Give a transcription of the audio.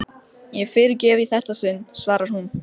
Hún þekkti hvern hlut inni í skálanum.